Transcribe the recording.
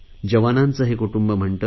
जवानांचे हे कुटुंब म्हणते